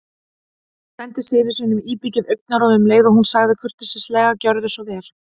Hún sendi syni sínum íbyggið augnaráð um leið og hún sagði kurteislega: Gjörðu svo vel